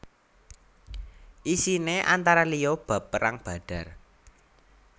Isiné antara liya bab Perang Badar